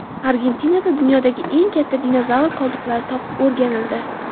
Argentinada dunyodagi eng katta dinozavr qoldiqlari topib o‘rganildi.